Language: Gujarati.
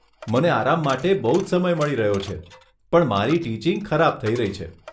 મને આરામ માટે બહુ જ સમય મળી રહ્યો છે, પણ મારી ટીચિંગ ખરાબ થઈ રહી છે.